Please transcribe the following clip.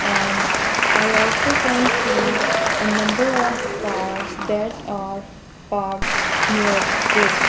and I also can see ah number of cars that are parked near this.